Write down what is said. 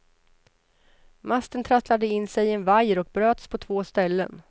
Masten trasslade in sig i en vajer och bröts på två ställen.